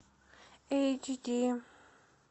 эйч ди